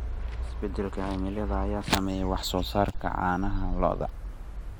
Isbeddelka cimilada ayaa saameeya wax soo saarka caanaha lo'da.